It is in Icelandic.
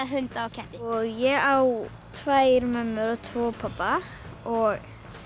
hunda og ketti ég á tvær mömmur og tvo pabba og